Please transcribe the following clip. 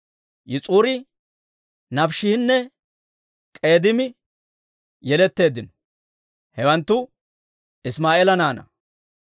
Yis'uri, Naafiishinne K'eedimi yeletteeddino. Hawanttu Isimaa'eela naanaa.